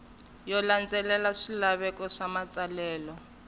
yo landzelela swilaveko swa matsalelo